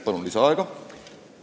Palun lisaaega!